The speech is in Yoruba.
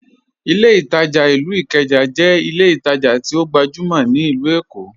Ìlẹ̀ Itajà ilú Ìkéjà jẹ́ ìlẹ̀ ìtajà tí ọ gbajumọ̀ ni Ilù Èkó.